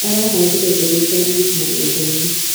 Arahandire mbegũ cia minji mũgũndanĩ.